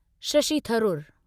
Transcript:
Shashi Tharoor